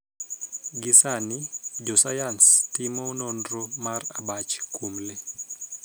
Gi sani, jo sayans timo nonro mar abach kuom lee.